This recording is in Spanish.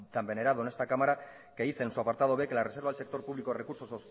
tan venerado en esta cámara que dice en su apartado b que la reserva al sector público de recursos